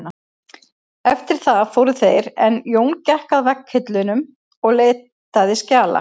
Eftir það fóru þeir en Jón gekk að vegghillum og leitaði skjala.